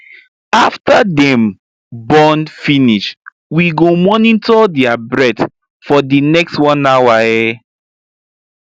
after them born finish we go monitor their breath for the next 1 hour um